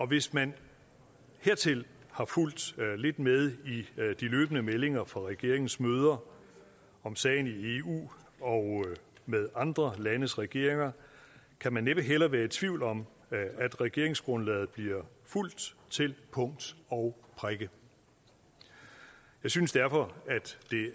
hvis man hertil har fulgt lidt med i de løbende meldinger fra regeringens møder om sagen i eu og med andre landes regeringer kan man næppe heller være i tvivl om at regeringsgrundlaget bliver fulgt til punkt og prikke jeg synes derfor